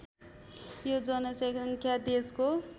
यो जनसङ्ख्या देशको